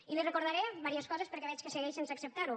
i li recordaré diverses coses perquè veig que segueix sense acceptar ho